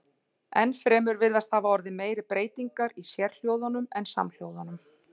Enn fremur virðast hafa orðið meiri breytingar í sérhljóðunum en samhljóðunum.